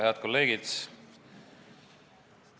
Head kolleegid!